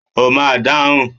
O máa dáhùn!.